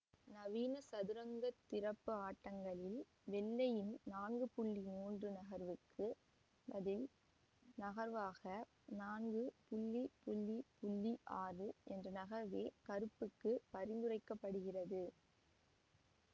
நவீன சதுரங்க திரப்பு ஆட்டங்களில் வெள்ளையின் நான்கு மூன்று நகர்வுக்குப் பதில் நகர்வாக நான்கு ஆறு என்ற நகர்வே கருப்புக்கு பரிந்துரைக்கப்படுகிறது